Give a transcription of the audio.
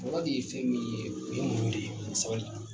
Kɔrɔ de ye fɛn min ye o ye munɲu de ye ani sabali